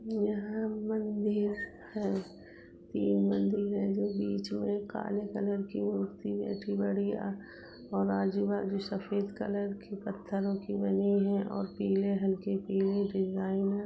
यहाँ मंदिर हैं। तीन मंदिर हैं जो बीच में काले कलर की मूर्ति बैठी बढ़िया और आजू बाजु सफ़ेद कलर के पत्थरों की बनी हैं और पीले हल्के पीले डिजाईन हैं।